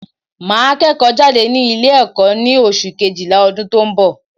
Màá kẹ́ẹ̀kọ́ jáde ní Ilé ẹ̀kó ní oṣù kejìlá ọdún tó n bọ̀